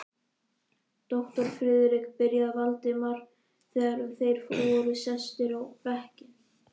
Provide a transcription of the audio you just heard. Doktor Friðrik byrjaði Valdimar, þegar þeir voru sestir á bekkinn.